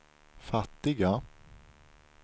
fattiga